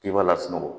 K'i b'a lasunɔgɔ